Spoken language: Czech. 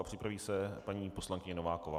A připraví se paní poslankyně Nováková.